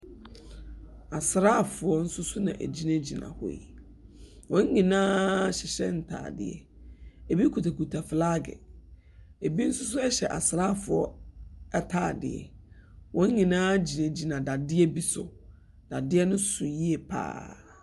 Asrafoɔ nso na egyinagyina hɔ hɔ yi. Wɔn nyinaa hyehyɛ ntaadeɛ, ebu kutakuta flaage. Ebi nso hyehyɛ asrafo ntaade. Wɔn nyinaa gyinagyina dadeɛ bi so. Dadeɛ no so yiye pa ara.